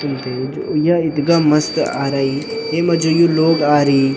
तुम्थे जू या इथगा मस्त आराई येमा जू लोग आरी --